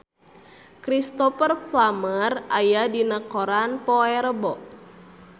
Cristhoper Plumer aya dina koran poe Rebo